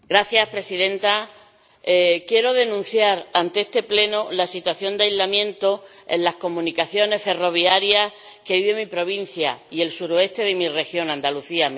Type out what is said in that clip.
Señora Presidenta, quiero denunciar ante este Pleno la situación de aislamiento en las comunicaciones ferroviarias que vive mi provincia y el suroeste de mi región, Andalucía.